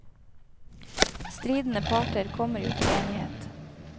Stridende parter kommer jo til enighet.